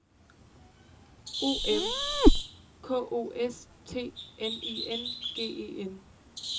O M K O S T N I N G E N